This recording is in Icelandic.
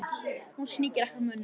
Hún sníkir ekki á mönnum.